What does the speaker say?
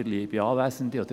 Für die FDP, Peter Moser.